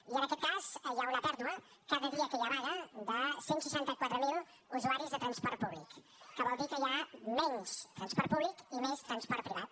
i en aquest cas hi ha una pèrdua cada dia que hi ha vaga de cent i seixanta quatre mil usuaris de transport públic que vol dir que hi ha menys transport públic i més transport privat